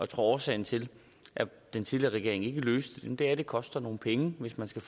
tror at årsagen til at den tidligere regering ikke løste det er at det koster nogle penge hvis man skal